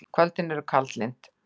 Kvöldin eru kaldlynd.